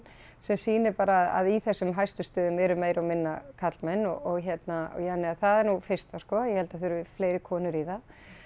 sem sýnir bara að í þessum hæstu stöðum eru meira og minna karlmenn og hérna ja þannig að það er nú það fyrsta sko ég held að það þurfi fleiri konur í það